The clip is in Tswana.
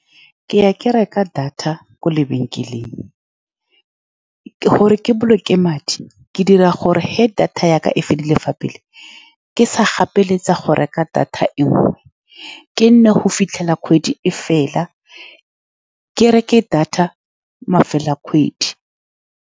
Ke ya, ke reka data ko lebenkeleng gore ke boloke madi. Ke dira gore fa data ya ka e fedile ka pele, ke sa gapeletsega go reka data e nngwe. Ke nne go fitlhela kgwedi e fela, ke reke data mafelo a kgwedi.